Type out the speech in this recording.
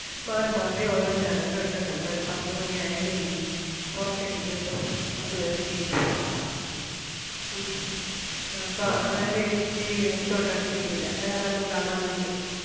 മാറി മാറി ഓരോ channel ഉം ഇട്ട് കണ്ട് ഒര് പത്തുമണി ആയാലേ ഇനി പൊറത്തേക്ക് കിട്ടൂ. അതുവരെ TV ടെ front ലാ ഉം അഹ് അപ്പം ആരേം TV ടെ അടുത്തോട്ട് അടുപ്പിക്കൂല്ല വേറെയൊന്നും കാണാൻ വേണ്ടി